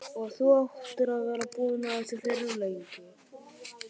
Og þú áttir að vera búinn að þessu fyrir löngu!